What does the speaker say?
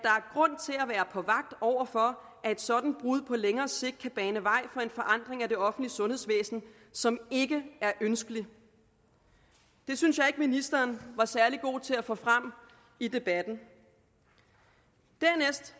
er på vagt over for at et sådant brud på længere sigt kan bane vej for en forandring af det offentlige sundhedsvæsen som ikke er ønskelig det synes jeg ikke ministeren var særlig god til at få frem i debatten dernæst